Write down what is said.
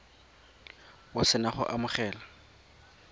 o se na go amogela